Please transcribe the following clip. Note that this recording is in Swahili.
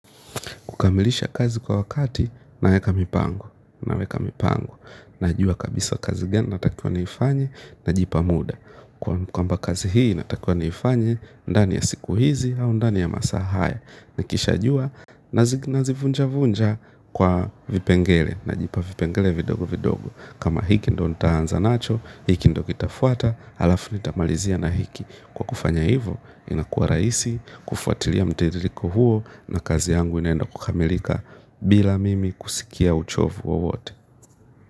Kukamilisha kazi kwa wakati, naweka mipango, naweka mipango. Najua kabisa kazi gani, nataka niifanye, najipa muda. Kwamba kazi hii, natakua niifanye, ndani ya siku hizi, au ndani ya masaahaya. Nikisha jua, nazivunja-vunja kwa vipengele, najipa vipengele vidogo-vidogo. Kama hiki ndio nitaanza nacho, hiki ndio kitafuata, h alafu nitamalizia na hiki. Kwa kufanya hivo, inakua rahisi, kufuatilia mtiririko huo na kazi yangu inaenda kukamilika bila mimi kusikia uchovu wowote.